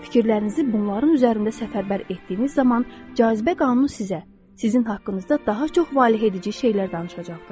Fikirlərinizi bunların üzərində səfərbər etdiyiniz zaman cazibə qanunu sizə, sizin haqqınızda daha çox valehedici şeylər danışacaqdır.